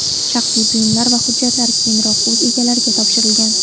Shaxsiy buyumlar va hujjatlar keyinroq o‘z egalariga topshirilgan.